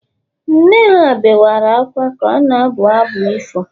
nne ha bewere akwa ka ọ na-abụ abụ ifo